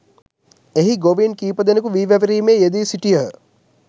එහි ගොවීන් කීපදෙනෙකු වී වැපිරීමේ යෙදී සිටියහ